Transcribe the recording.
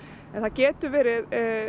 en það getur verið